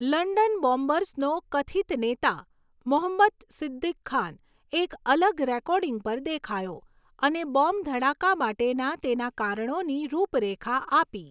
London બોમ્બર્સનો કથિત નેતા, મોહમ્મદ સિદ્દિક ખાન, એક અલગ રેકોર્ડિંગ પર દેખાયો અને બોમ્બ ધડાકા માટેના તેના કારણોની રૂપરેખા આપી.